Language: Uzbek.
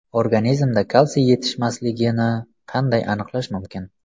Organizmda kalsiy yetishmasligini qanday aniqlash mumkin?